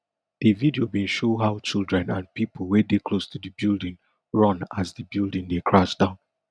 di video bin show how children and pipo wey dey close to di building run as di building dey crash down